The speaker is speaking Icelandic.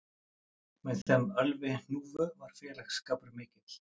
Með þeim Ölvi hnúfu var félagsskapur mikill